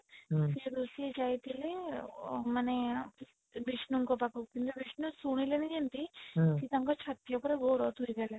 ସେ ଋଷି ଯାଇଥିଲେ ଅଁ ମାନେ ବିଷ୍ଣୁ ଙ୍କ ପାଖକୁ ହେଲେ ବିଷ୍ଣୁ ଶୁଣିଲେନି ଯେମିତି ସେ ତାଙ୍କ ଛାତି ଉପରେ ଗୋଡ ଥୋଇ ଦେଲେ